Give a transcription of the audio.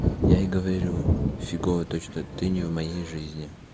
я и говорю фигово то что ты не в моей жизни